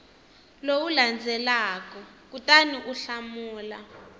lowu landzelaka kutani u hlamula